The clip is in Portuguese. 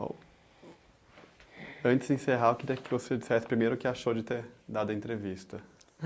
antes de se encerrar, queria você dissesse, primeiro, o que achou de ter dado a entrevista?